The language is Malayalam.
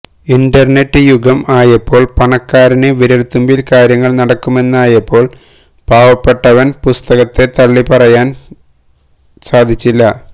ഇന്റർനെറ്റ് യുഗം ആയപ്പോൾ പണക്കാരന് വിരൽത്തുമ്പിൽ കാര്യങ്ങൾ നടക്കുമെന്നായപ്പോൾ പാവപ്പെട്ടവന് പുസ്തകത്തെ തള്ളിപ്പറയുവാൻ സാധിച്ചില്ല